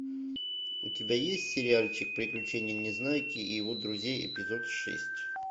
у тебя есть сериальчик приключения незнайки и его друзей эпизод шесть